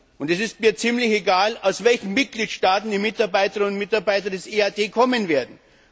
Und es ist mir ziemlich egal, aus welchen Mitgliedstaaten die Mitarbeiterinnen und Mitarbeiter des EAD kommen werden.